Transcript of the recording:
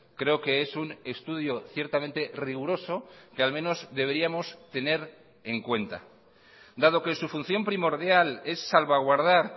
creo que es un estudio ciertamente riguroso que al menos deberíamos tener en cuenta dado que su función primordial es salvaguardar